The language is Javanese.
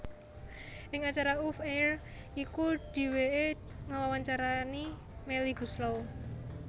Ing acara oof air iku dheweke ngewawancarani Melly Goeslaw